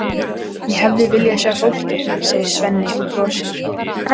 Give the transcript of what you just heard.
Ég hefði viljað sjá fólkið, segir Svenni og brosir.